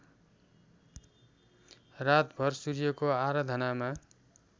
रातभर सूर्यको आराधनामा